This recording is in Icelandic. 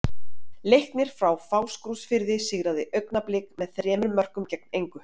Leiknir frá Fáskrúðsfirði sigraði Augnablik með þremur mörkum gegn engu.